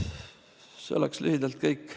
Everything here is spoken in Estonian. See oleks lühidalt kõik.